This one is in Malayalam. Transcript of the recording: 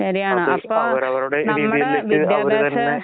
ശരിയാണ്. അപ്പൊ നമ്മടെ വിദ്യാഭാസ